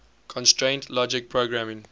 constraint logic programming